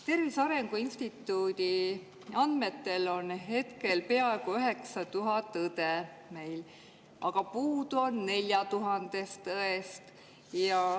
Tervise Arengu Instituudi andmetel on meil peaaegu 9000 õde, aga puudu on 4000 õde.